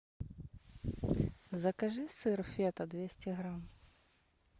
закажи сыр фета двести грамм